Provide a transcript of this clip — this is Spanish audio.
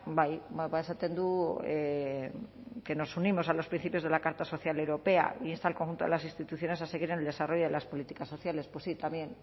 bai esaten du que nos unimos a los principios de la carta social europea e insta al conjunto de las instituciones a seguir en el desarrollo de las políticas sociales pues sí también